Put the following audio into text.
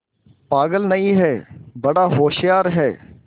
पागल नहीं हैं बड़ा होशियार है